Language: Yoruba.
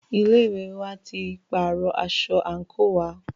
Ilé ìwé wa tí pàárọ̀ aṣọ àńkò wa.